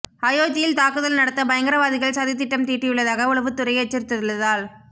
அயோத்தியில் தாக்குதல் நடத்த பயங்கரவாதிகள் சதி திட்டம் தீட்டியுள்ளதாக உளவுத்துறை எச்சரித்துள்ளதால்